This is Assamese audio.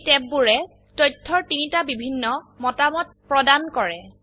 এই ট্যাববোৰে তথ্যৰ 3টা বিভিন্ন মতামত প্ৰদান কৰে